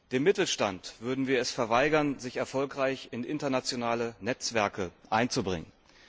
Dem Mittelstand würden wir es verweigern, sich erfolgreich in internationale Netzwerke einzubringen.